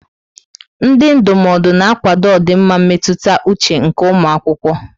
Ndị ndụmọdụ na-akwado ọdịmma mmetụta uche nke ụmụ akwụkwọ.